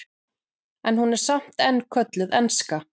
en hún er samt enn kölluð enska